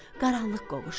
Qaranlıq qovuşdu.